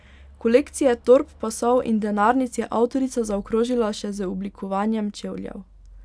Kolekcije torb, pasov in denarnic je avtorica zaokrožila še z oblikovanjem čevljev.